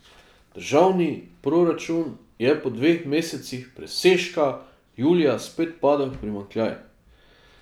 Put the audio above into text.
Državni proračun je po dveh mesecih presežka julija spet padel v primanjkljaj.